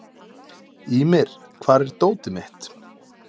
Ýmir, hvar er dótið mitt?